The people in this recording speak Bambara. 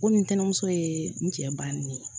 Komi ntɛnɛmuso ye n cɛ banni ne ye